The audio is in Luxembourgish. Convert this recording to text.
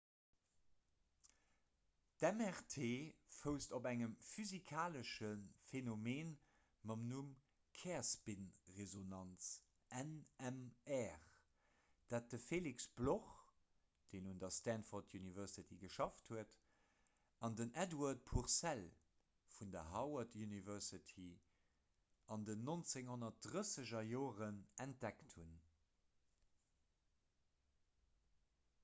d'mrt fousst op engem physikalesche phenomen mam numm kärspinresonanz nmr dat de felix bloch deen un der stanford university geschafft huet an den edward purcell vun der harvard university an den 1930er entdeckt hunn